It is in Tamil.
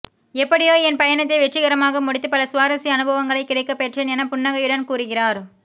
எப்படியோ என் பயணத்தை வெற்றிகரமாக முடித்து பல சுவாரசிய அனுபவங்களை கிடைக்க பெற்றேன் என புன்னகையுடன் கூறுகிறார்